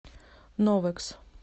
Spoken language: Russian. новэкс